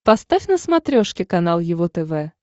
поставь на смотрешке канал его тв